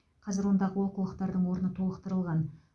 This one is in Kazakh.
қазір ондағы олқылықтардың орны толықтырылған